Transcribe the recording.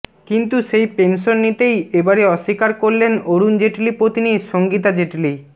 কিন্তু সেই পেনশন নিতেই এবারে অস্বীকার করলেন অরুণ জেটলি পত্নী সঙ্গীতা জেটলি